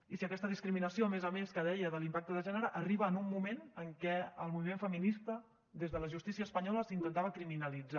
i aquesta discriminació a més a més que deia de l’impacte de gènere arriba en un moment en què el moviment feminista des de la justícia espanyola s’intentava criminalitzar